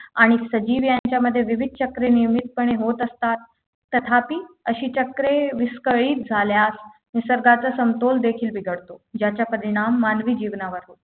आणि सजीव यांच्यामध्ये विविध विविध चक्रे नियमितपणे होत असतात तथापि अशी चक्रे विस्कळीत झाल्यास निसर्गाचा समतोल देखील बिघडतो ज्याचा परिणाम मानवी जीवनावर हो